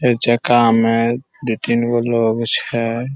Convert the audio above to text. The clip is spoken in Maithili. चार चक्का में दू-तीन गो लोग छै।